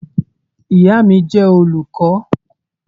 Ìyà mi jẹ́ olùkọ.